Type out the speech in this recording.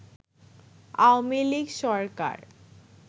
Awami League Sarkar